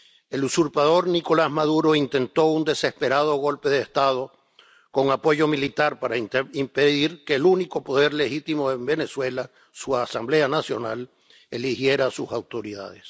El usurpador Nicolás Maduro intentó un desesperado golpe de Estado con apoyo militar para impedir que el único poder legítimo en Venezuela, su Asamblea Nacional, eligiera a sus autoridades.